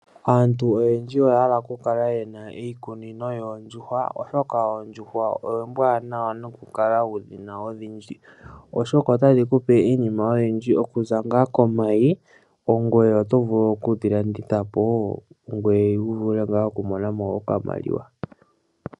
Aantu oyendji oya hala okukala yena iikunino yoondjuhwa oshoka, oondjuhwa oombwanawa nokukala wudhina odhindji oshoka, otadhi kupe iinima oyindji okuza ngaa komayi ngoye oto vulu okudhilanditha po wo ngoye wuvule nga okumonamo okamaliwa.